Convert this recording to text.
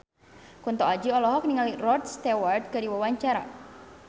Kunto Aji olohok ningali Rod Stewart keur diwawancara